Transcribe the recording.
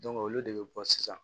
olu de bi bɔ sisan